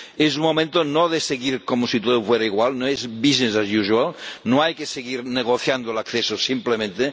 Es momento no de seguir como si todo fuera igual, no es business as usual no hay que seguir negociando el acceso simplemente.